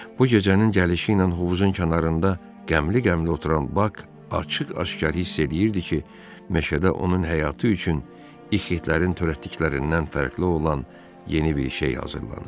Bu gecənin gəlişi ilə hovuzun kənarında qəmli-qəmli oturan Bak açıq-aşkar hiss eləyirdi ki, meşədə onun həyatı üçün ixhilərin törətdiklərindən fərqli olan yeni bir şey hazırlanır.